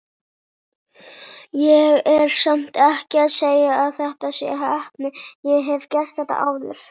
Ég er samt ekki að segja að þetta sé heppni, ég hef gert þetta áður.